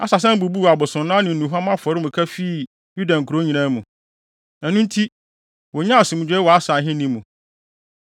Asa san bubuu abosonnan ne nnuhuam afɔremuka fii Yuda nkurow nyinaa mu. Ɛno nti, wonyaa asomdwoe wɔ Asa ahenni mu.